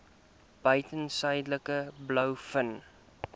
buiten suidelike blouvin